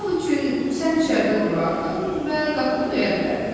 Misal üçün, sən içəridə durardın və qapını döyə bilərdin.